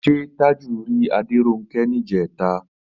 Ṣé Tájù rí Adéronkẹ́ níjẹ̀ta?